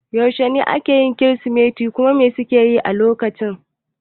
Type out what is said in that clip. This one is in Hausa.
Yaushe ne ake yin kirismeti kuma me suke yi a lokacin?